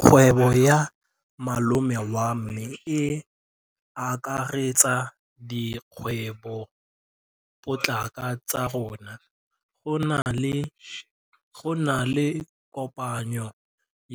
Kgwêbô ya malome wa me e akaretsa dikgwêbôpotlana tsa rona. Go na le kopanô